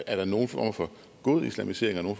er der nogen form for god islamisering og